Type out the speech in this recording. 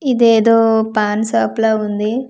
ఇదేదో పాన్ షాప్ లా ఉంది ఇక్కడ.